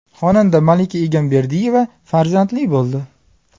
Xonanda Malika Egamberdiyeva farzandli bo‘ldi.